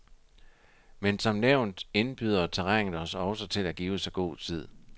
Men som nævnt indbyder terrænet også til at give sig god tid.